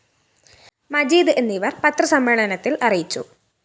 മജീദ് എന്നിവര്‍ പത്രസമ്മേളനത്തില്‍ അറിയിച്ചു